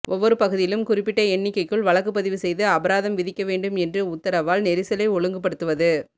ஒவ்வொரு பகுதியிலும் குறிப்பிட்ட எண்ணிக்கைக்குள் வழக்குப்பதிவு செய்து அபராதம் விதிக்க வேண்டும் என்ற உத்தரவால் நெரிசலை ஒழுங்குப்படுத்துவது